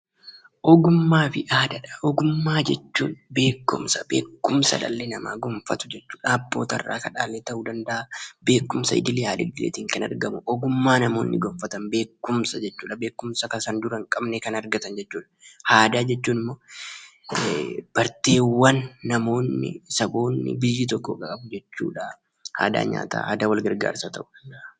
Ogummaa Fi aadaa. Ogummaa jechuun beekumsa dhalli namaa gonfatu jechuudha. Abbotarraa kan dhaale ta'uu danda'aa, beekumsa idileetiin kan argamu. Ogummaa naamoonni gonfatan beekumsaadha. Isa kanaan dura hin qabne kan argatan jechuudha. Aadaa jechuun immoo barteewwan namoonni, saboonni biyyi tokko qaban jechuudha. Fakkeenyaaf aadaa nyaataa ta'uu danda'a, aadaa wal gargaarsaa ta'uu danda'a.